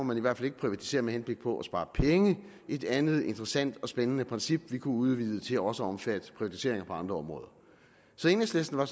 man i hvert fald ikke privatisere med henblik på at spare penge et andet interessant og spændende princip vi kunne udvide til også at omfatte privatiseringer på andre områder så enhedslisten var